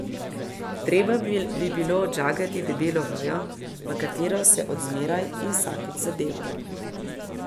Treba bi bilo odžagati debelo vejo, v katero se od zmeraj in vsakič zadevam.